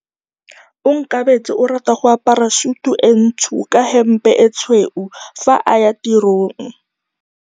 Onkabetse o rata go apara sutu e ntsho ka hempe e tshweu fa a ya tirong.